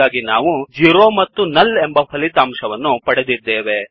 ಹಾಗಾಗಿ ನಾವು 0 ಮತ್ತು ನುಲ್ ಎಂಬ ಫಲಿತಾಂಶವನ್ನು ಪಡೆದಿದ್ದೇವೆ